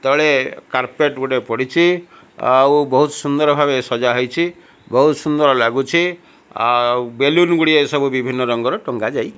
ତଳେ କାର୍ପେଟ ଗୁଟେ ପଡିଚି ଆଉ ବହୁତ ସୁନ୍ଦର ଭାବେ ସଜା ହେଇଛି ବହୁତ ସୁନ୍ଦର ଲାଗୁଛି ଆଉ ବେଲୁନ ଗୁଡିଏ ସବୁ ବିଭିନ୍ନ ରଙ୍ଗର ଟଙ୍ଗା ଯାଇ --